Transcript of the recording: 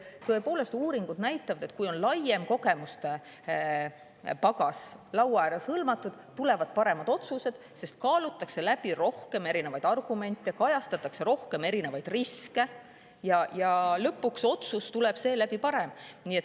Tõepoolest, uuringud näitavad, et kui laua ääres on laiem kogemustepagas, siis tulevad paremad otsused, sest kaalutakse läbi erinevaid argumente, kajastatakse erinevaid riske, ja lõpuks tuleb ka otsus seeläbi parem.